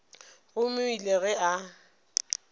gomme o ile ge a